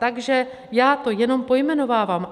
Takže já to jenom pojmenovávám.